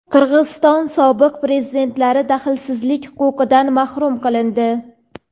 Qirg‘iziston sobiq prezidentlari daxlsizlik huquqidan mahrum qilindi.